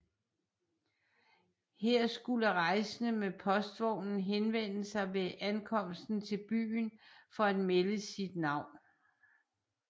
Her skulle rejsende med postvognen henvende sig ved ankomsten til byen for at melde sit navn